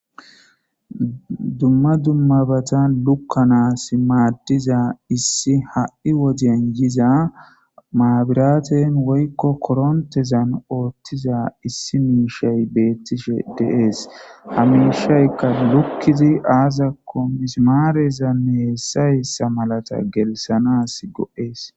Dumma dummabatan lukkanas maaddiza issi ha7i wodyen yiza maabiraten woykko korontezan oothtiza issi miishay beettishe deees hamiishaykka lukkizi aazako mismaarezanne heessayssa malata gelisanas go7ees.